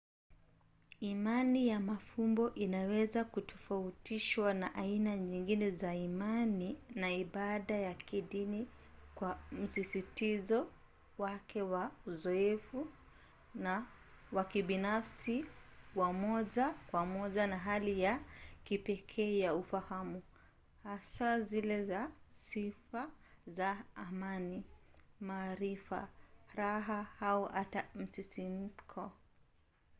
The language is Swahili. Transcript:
imani ya mafumbo inaweza kutofautishwa na aina nyingine za imani na ibada ya kidini kwa msisitizo wake wa uzoefu wa kibinafsi wa moja kwa moja wa hali ya kipekee ya ufahamu hasa zile za sifa za amani maarifa raha au hata msisimko